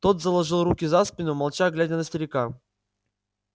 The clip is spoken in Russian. тот заложил руки за спину молча глядя на старика